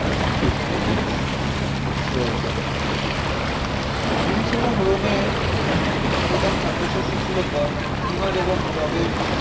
genetics উৎস রয়েছে Greece এবং রোমে প্রধান খাদ্যশস্য ছিল গম, ইমার এবং যবের